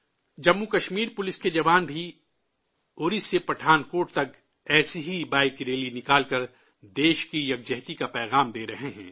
جموں و کشمیر پولیس کے جواب بھی اُری سے پٹھان کوٹ تک ایسی ہی بائیک ریلی نکال کر ملک کے اتحاد کا پیغام دے رہے ہیں